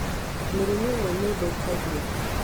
Mĩrimũ ĩmwe nĩ ĩthũkagia